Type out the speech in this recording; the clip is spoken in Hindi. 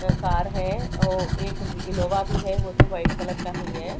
अं कार हैं ओ एक इनोवा भी है हो तो व्हाइट कलर का नहीं हैं।